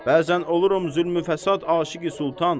Bəzən olurum zülmü-fəsad aşiqi sultan.